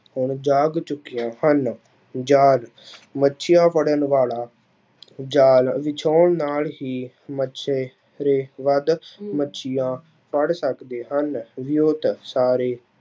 ਹੁਣ ਜਾਗ ਚੁੱਕੀਆਂ ਹਨ, ਜਾਲ ਮੱਛੀਆਂ ਫੜਨ ਵਾਲਾ ਜਾਲ ਵਿਛਾਉਣ ਨਾਲ ਹੀ ਮੱਛੇਰੇ ਵੱਧ ਮੱਛੀਆਂ ਫੜ ਸਕਦੇ ਹਨ ਸਾਰੇ